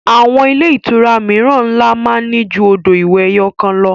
Àwọn ilé-ìtura mìíràn ńlá máa ní ju odò ìwẹ̀ ẹyọ̀kan lọ.